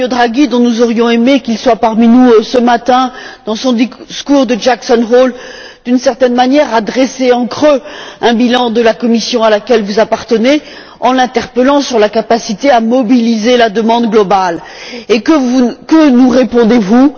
Mario Draghi dont nous aurions aimé qu'il soit parmi nous ce matin dans son discours à Jackson Hole, a d'une certaine manière dressé en creux un bilan de la Commission à laquelle vous appartenez, en l'interpellant sur sa capacité à mobiliser la demande globale. Que nous répondez vous?